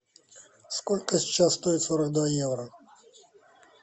сколько сейчас стоит сорок два евро